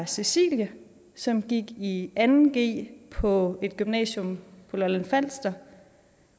cecilie som gik i anden g på et gymnasium på lolland falster